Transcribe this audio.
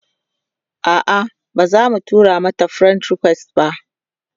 a'a bazamu tura mata friend request ba